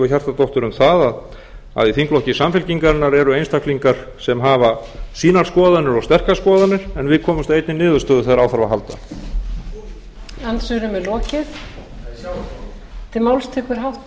hjartardóttur um það að í þingflokki samfylkingarinnar eru einstaklingar sem hafa sínar skoðanir og sterkar skoðanir en við komumst að einni niðurstöðu þegar á þarf að halda